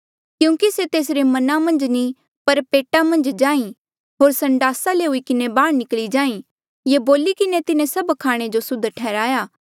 क्यूंकि से तेसरे मना मन्झ नी पर पेटा मन्झ जाहीं होर संडासा ले हुई किन्हें बाहर निकली जाहीं ये बोली किन्हें तिन्हें सब खाणे जो सुद्ध ठैहराया